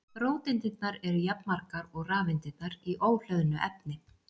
róteindirnar eru jafnmargar og rafeindirnar í óhlöðnu efni